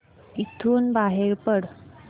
इथून बाहेर पड